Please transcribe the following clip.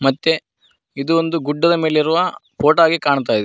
ಮತ್ತೆ ಇದು ಒಂದು ಗುಡ್ಡದ ಮೇಲೆ ಇರುವ ಫೋಟೋ ಆಗಿ ಕಾಣ್ತಾ ಇದೆ.